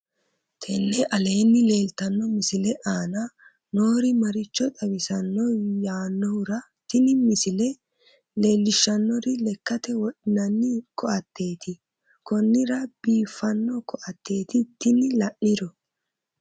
tenne aleenni leeltanno misile aana noori maricho xawisanno yaannohura tini misile leellishshannori lekkate wodhinanni koatetti konnira biifanno koatetti tini la'niro